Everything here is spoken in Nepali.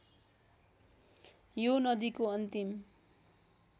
यो नदीको अन्तिम